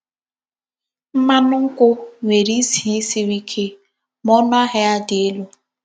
Mmánụ nkwụ nwere ísì siri ike, ma ọnụ ahịa ya dị elu.